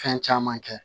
Fɛn caman kɛ